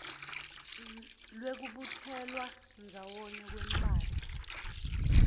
lwekubutselwa ndzawonye kwemphahla